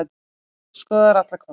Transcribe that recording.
Skoðar alla kosti